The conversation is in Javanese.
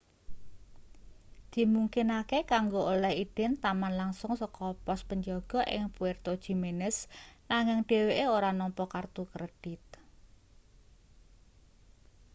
dimungkinake kanggo oleh idin taman langsung saka pos penjaga ing puerto jiménez nanging dheweke ora nampa kertu kredit